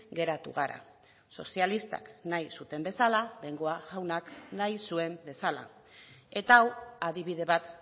geratu gara sozialistak nahi zuten bezala bengoa jaunak nahi zuen bezala eta hau adibide bat